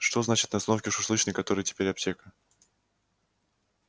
что значит на остановке у шашлычной которая теперь аптека